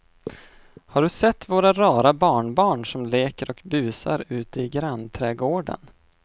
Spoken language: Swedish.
Har du sett våra rara barnbarn som leker och busar ute i grannträdgården!